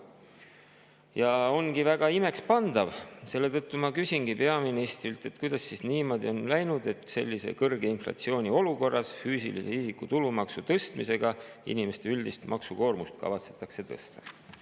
Nüüd ongi väga imekspandav see, mille kohta ma küsingi peaministrilt: kuidas siis niimoodi on läinud, et sellises kõrge inflatsiooni olukorras füüsilise isiku tulumaksu tõstmisega inimeste üldist maksukoormust kavatsetakse tõsta?